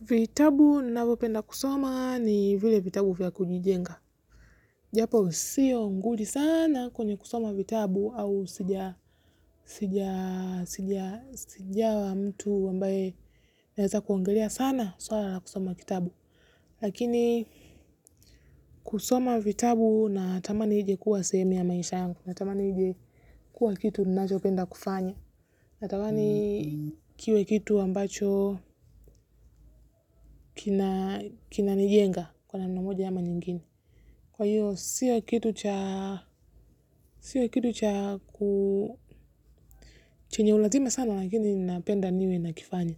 Vitabu ninavyopenda kusoma ni vile vitabu vya kunijenga. Japo sio nguli sana kwenye kusoma vitabu au sijawa mtu ambaye anaweza kuongelea sana swala la kusoma kitabu. Lakini kusoma vitabu natamani ije kuwa sehemu ya maisha yangu. Natamani ije kuwa kitu ninachopenda kufanya. Natamani kiwe kitu ambacho kinanijenga kwa namna moja ama nyingine. Kwa hiyo, sio kitu chenye u lazima sana lakini ninapenda niwe nakifanya.